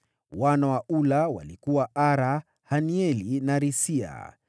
Wana wa Ula walikuwa: Ara, Hanieli na Risia.